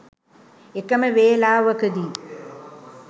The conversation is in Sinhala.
එකම වේලාවකදී